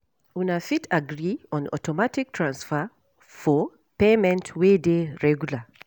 Una fit agree on automatic transfer for payment wey dey regular